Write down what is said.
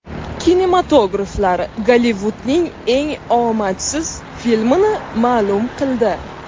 Kinematograflar Gollivudning eng omadsiz filmini ma’lum qildi.